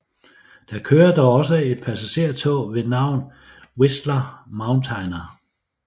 Der kører dog også et passagertog ved navn Whistler Mountaineer